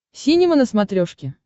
синема на смотрешке